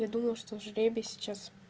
я думал что жребий сейчас